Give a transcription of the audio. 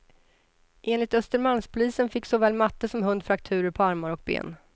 Enligt östermalmspolisen fick såväl matte som hund frakturer på armar och ben.